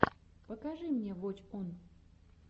покажи мне воч он